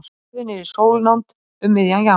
Jörðin er í sólnánd um miðjan janúar.